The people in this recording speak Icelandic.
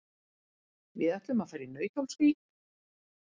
Við ætlum að fara í Nauthólsvík.